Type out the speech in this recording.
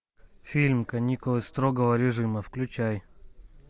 фильм каникулы строгого режима включай